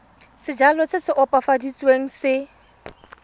sejalo se se opafaditsweng se